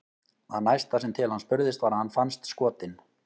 Það næsta sem til hans spurðist var að hann fannst skotinn.